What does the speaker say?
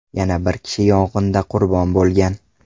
Yana bir kishi yong‘inda qurbon bo‘lgan.